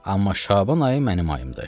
Amma Şaban ayı mənim ayım idi.